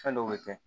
Fɛn dɔw bɛ kɛ